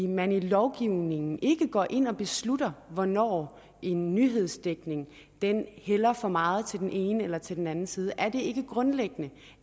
man i lovgivningen ikke går ind og beslutter hvornår en nyhedsdækning hælder for meget til den ene eller til den anden side er det ikke grundlæggende